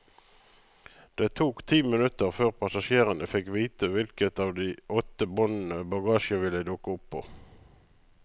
Det tok ti minutter før passasjerene fikk vite hvilket av de åtte båndene bagasjen ville dukke opp på.